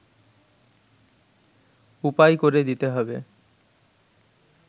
উপায় করে দিতে হবে